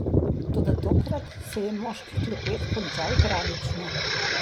Toda tokrat se je moški klepet končal tragično.